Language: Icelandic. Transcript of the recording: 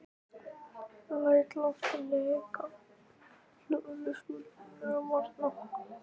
Læt loftið leka hljóðlaust út á milli varanna.